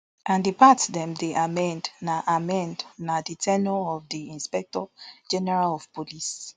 and di part dem dey amend na amend na di ten ure of di inspector general of police